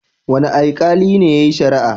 Wane aikali ne yayi shari'ar?